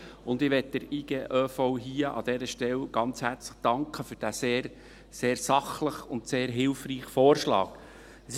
Ich möchte der IGöV an dieser Stelle ganz herzlich für diesen sehr sachlichen und sehr hilfreichen Vorschlag danken.